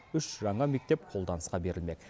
үш жаңа мектеп қолданысқа берілмек